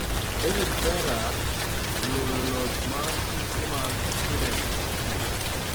David Ferrer oloyo loch mar tuke mag Sweden Open